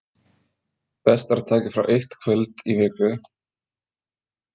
Best er að taka frá eitt kvöld í viku.